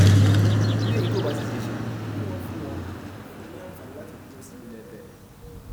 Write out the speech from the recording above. bí èyí kò bá sì ṣeé ṣe kí wọn fún wọn fún un ní àǹfààní láti dúró sí ilé benin